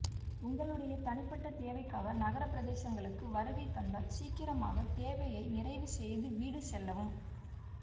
உங்களுடைய தனிப்பட்ட தேவைக்காக நகர் பிரதேசங்களுக்கு வருகை தந்தால் சீக்கிரமாக தேவையை நிறைவு செய்து வீடு செல்லவும்